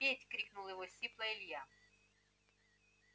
петь крикнул его сипло илья